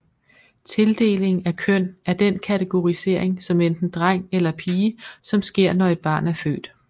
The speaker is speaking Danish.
Tildeling af køn er den kategorisering som enten dreng eller pige som sker når et barn er født